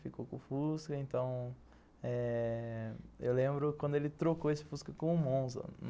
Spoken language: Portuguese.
Ficou com o Fusca, então eh... Eu lembro quando ele trocou esse Fusca com um Monza.